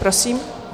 Prosím.